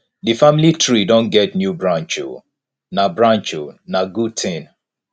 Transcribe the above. di family tree don get new branch o na branch o na good tin